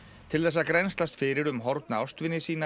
til þess að grennslast fyrir um horfna ástvini sína